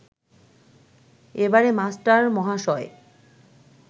এবারে মাস্টারমহাশয়